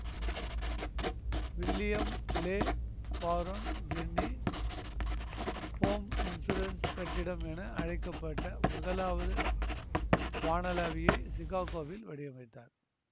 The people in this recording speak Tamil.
William Le Baron Jenney Home Insurance கட்டிடம் என அழைக்க பட்ட முதலாவது வானளாவியை சிகாகோவில் வடிவமைத்தார்